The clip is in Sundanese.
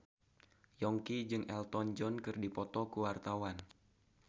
Yongki jeung Elton John keur dipoto ku wartawan